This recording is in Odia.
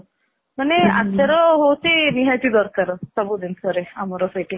ଅମନେ ଆଚାର ହାଉଛି ନିହାତି ଦରକାର ସବୁ ଜିନିଷରେ ଆମର ସେଇଠି